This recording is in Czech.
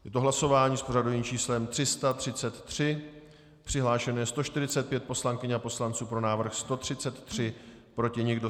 Je to hlasování s pořadovým číslem 333, přihlášeno je 145 poslankyň a poslanců, pro návrh 133, proti nikdo.